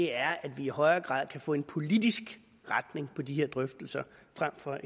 er at vi i højere grad kan få en politisk retning på de her drøftelser frem for